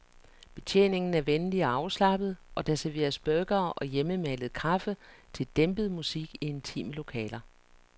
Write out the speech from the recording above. Betjeningen er venlig og afslappet, og der serveres burgere og hjemmemalet kaffe til dæmpet musik i intime lokaler.